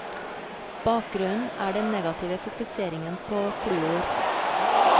Bakgrunnen er den negative fokuseringen på fluor.